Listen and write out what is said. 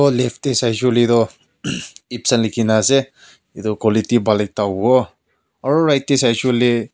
oh left teh sai shey kuile tu hm epson likhina ase itu quality bhal ekta huwo aru right teh sai shey kuile.